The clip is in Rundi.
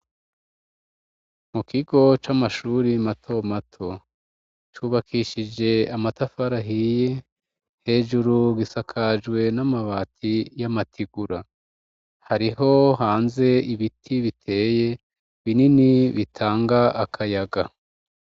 Mukigo c'Amashure matomato, cubakishije amatafari ahiye, hejuru gisakajwe n’amabati y’amategura, hariho hanze ibiti biteye binini bitanga akayaga.